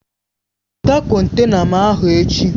Weta kọntena m ahụ!